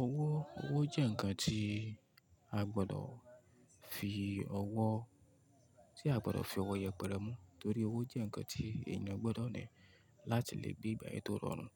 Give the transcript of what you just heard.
Owó, owó jẹ́ ǹkan tí a gbọdọ̀ fi ọwọ́, tí a gbọdọ̀ fi ọwọ́ yẹpẹrẹ mú torí owó jẹ́ ǹkan tí èèyàn gbọdọ̀ ní láti lè gbé ìgbe-ayé tó rọrùn.